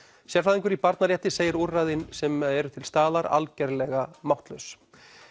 sérfræðingur í barnarétti segir úrræðin sem eru til staðar algerlega máttlaus